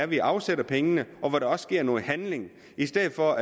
vi afsætter pengene og hvor der sker noget i stedet for